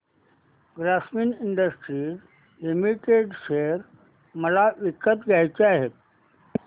Grasim industries limited share मला विकत घ्यायचे आहेत